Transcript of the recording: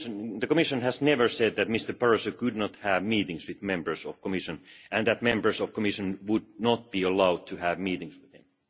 The Commission has never said that Mr Barroso could not have meetings with members of the Commission and that members of the Commission would not be allowed to have meetings with him.